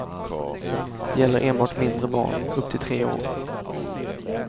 De gäller enbart mindre barn, upp till tre år.